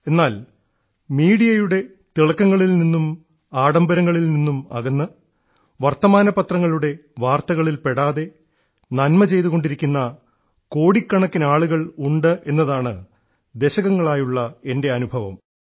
എന്നാൽ മീഡിയയുടെ തിളക്കങ്ങളിൽനിന്നും ആഡംബരങ്ങളിൽ നിന്നും അകന്ന് വർത്തമാനപത്രങ്ങളുടെ വാർത്തകളിൽപ്പെടാതെ നന്മ ചെയ്തുകൊണ്ടിരിക്കുന്ന കോടിക്കണക്കിനാളുകൾ ഉണ്ടെന്നതാണ് ദശകങ്ങളായുള്ള എൻറെ അനുഭവം